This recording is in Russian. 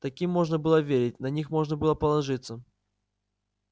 таким можно было верить на них можно было положиться